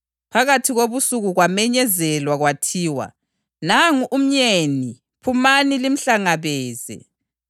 Phakathi kobusuku kwamenyezelwa kwathiwa, ‘Nangu umyeni! Phumani limhlangabeze!’